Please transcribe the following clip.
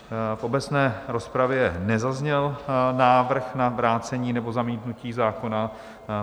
V obecné rozpravě nezazněl návrh na vrácení nebo zamítnutí zákona.